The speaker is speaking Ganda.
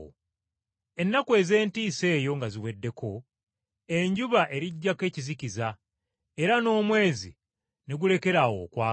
“Ennaku ez’entiisa eyo nga ziweddeko, “ ‘enjuba eriggyako ekizikiza, era n’omwezi teguliyaka,